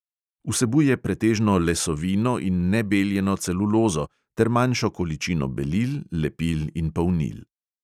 Vsebuje pretežno lesovino in nebeljeno celulozo ter manšjo količino belil, lepil in polnil.